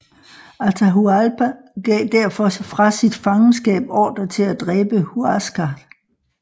Atahualpa gav derfor fra sit fangenskab ordre til at dræbe Huáscar